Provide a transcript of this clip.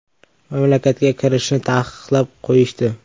“Mamlakatga kirishni taqiqlab qo‘yishdi.